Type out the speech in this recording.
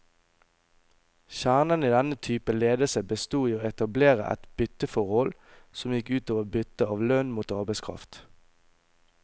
Kjernen i denne typen ledelse bestod i å etablere et bytteforhold, som gikk ut over byttet av lønn mot arbeidskraft.